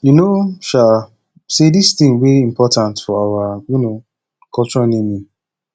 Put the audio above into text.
you no um say dis thing dey important for our um culture naming